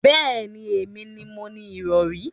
Bẹẹni, èmi ni mo ni irọ̀rí